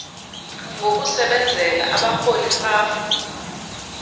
ngokusebenzela abarholi rhafu